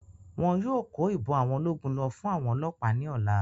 Wọn yóò kó Ìbọn àwọn ológun lọ fún àwọn ọlọ́ọ̀pá ní ọ̀la